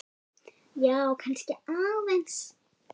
Já, kannski aðeins.